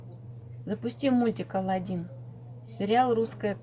запусти мультик алладин сериал русская